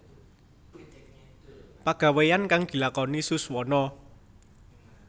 Pagaweyan kang dilakoni Suswono